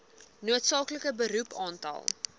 noodsaaklike beroep aantal